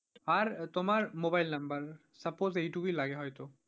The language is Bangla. আর তোমার mobile number suppose এই টুকুই লাগে হয়তো।